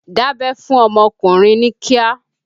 Dabẹ́ fún ọmọkùnrin ní kíá!